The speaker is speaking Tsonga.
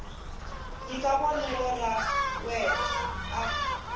nyika vonelo ra yena a